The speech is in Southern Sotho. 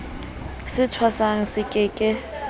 se thwasang se ke ke